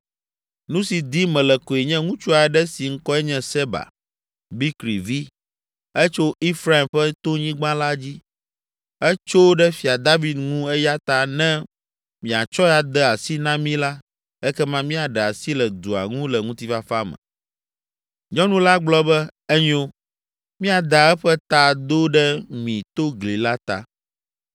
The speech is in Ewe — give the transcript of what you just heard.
nu si dim mele koe nye ŋutsu aɖe si ŋkɔe nye Seba, Bikri vi; etso Efraim ƒe tonyigba la dzi. Etso ɖe Fia David ŋu eya ta ne miatsɔe ade asi na mí la, ekema míaɖe asi le dua ŋu le ŋutifafa me.” Nyɔnu la gblɔ be, “Enyo, míada eƒe ta do ɖe mi to gli la ta.”